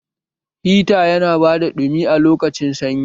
Hita yana ba da ɗumi a lokacin sanyi